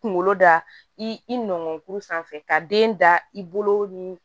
Kunkolo da i nɔgɔn kuru sanfɛ ka den da i bolo ni